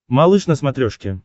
малыш на смотрешке